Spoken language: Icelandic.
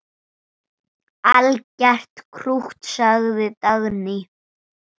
Algert krútt, sagði Dagný.